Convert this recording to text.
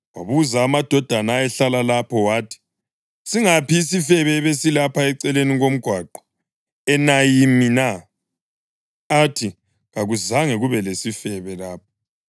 Wabuza amadoda ayehlala lapho wathi, “Singaphi isifebe ebesilapha eceleni komgwaqo e-Enayimi na?” Athi, “Kakuzange kube lesifebe lapha.”